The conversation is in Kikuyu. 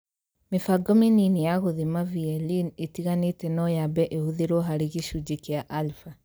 Mĩbango mĩnini ya gũthima VLE itiganĩte no yambe ĩhũthĩrũo harĩ gĩcunjĩ kia alpha.